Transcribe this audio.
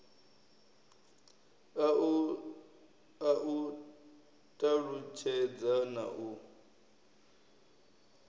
a u talutshedza na u